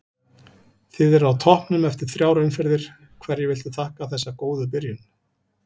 Þið eruð á toppnum eftir þrjár umferðir, hverju viltu þakka þessa góðu byrjun?